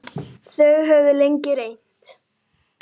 Þau höfðu lengi reynt.